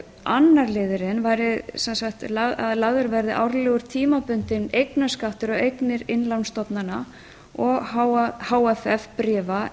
annar liðurinn væri að lagður verði árlegur tímabundinn eignarskattur á eignir innlánsstofnana og h f f